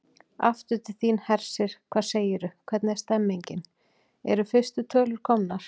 Aftur til þín, Hersir, hvað segirðu, hvernig er stemningin, eru fyrstu tölur komnar?